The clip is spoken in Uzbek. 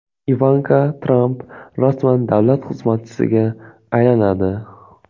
Ivanka Tramp rasman davlat xizmatchisiga aylanadi.